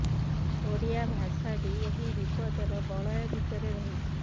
ଓଡ଼ିଆ ଭାଷା ବି ଏହି ବିପଦର ବଳୟ ଭିତରେ ରହିଛି